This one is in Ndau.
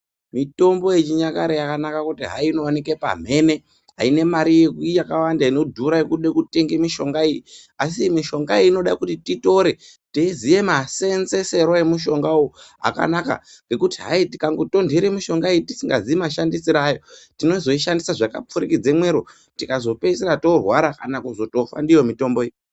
Mutombo yechinyakare yakanaka kuti inooneke pamhene haina mari yakawanda inodhura inodiwa kutenga ndiyo mushonga. Asi mishonga iyi inoda kuti titore teiziya maseenzesere emushonga uyu akana ngekuti hayi tingangotonhera mushonga uyo tisingaziyi mashandisirwe ayo tinozoishandisa zvakapfurikidza mwero tinozopedzisira torwara kana kuzotofa ndiyo mitombo iyi.